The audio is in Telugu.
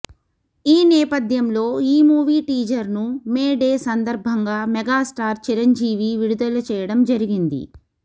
ఈ నేపథ్యంలో ఈ మూవీ టీజర్ ను మే డే సందర్భంగా మెగాస్టార్ చిరంజీవి విడుదల చెయ్యడం జరిగింది